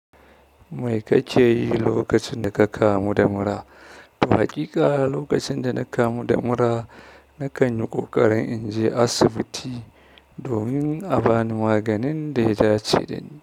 Mai kakeyi lokacin daka kamu da mura? Haƙiƙa lokacin dana kamu da mura nakan yi ƙoƙarin inje asibiti domin a bani maganin da ya dace dani.